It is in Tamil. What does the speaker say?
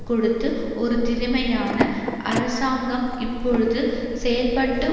கொடுத்து ஒரு திறமையான அரசாங்கம் இப்பொழுது செயல்பட்டு